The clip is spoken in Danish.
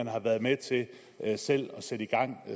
har været med til at sætte i gang